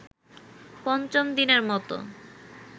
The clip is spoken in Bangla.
পঞ্চম দিনের মতো